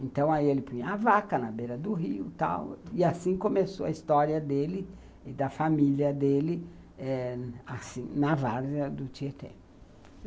Então, aí ele punha a vaca na beira do rio e tal, e assim começou a história dele e da família dele eh, assim, na várzea do Tietê.